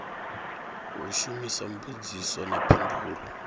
u shumisa mbudziso na phindulo